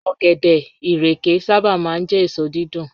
Ọ̀gẹ̀dẹ̀, ìrèké sábà máa ń jẹ́ èso dídùn